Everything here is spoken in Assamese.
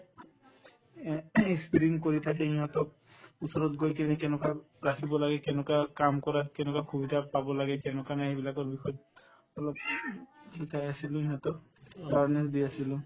এহ্ কৰি থাকি সিহঁতক ওচৰত গৈ কিনে কেনেকুৱাত ৰাখিব লাগে কেনেকুৱা কাম কৰাত কেনেকুৱা সুবিধা পাব লাগে কেনেকুৱা নাই সেইবিলাকৰ বিষয়ত অলপ শিকাই আছিলো সিহঁতক awareness দি আছিলো